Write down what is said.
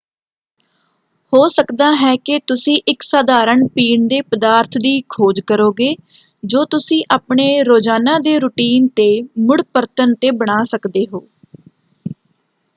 ਹੋ ਸਕਦਾ ਹੈ ਕਿ ਤੁਸੀਂ ਇੱਕ ਸਧਾਰਣ ਪੀਣ ਦੇ ਪਦਾਰਥ ਦੀ ਖੋਜ ਕਰੋਗੇ ਜੋ ਤੁਸੀਂ ਆਪਣੇ ਰੋਜ਼ਾਨਾ ਦੇ ਰੁਟੀਨ 'ਤੇ ਮੁੜ ਪਰਤਣ 'ਤੇ ਬਣਾ ਸਕਦੇ ਹੋ।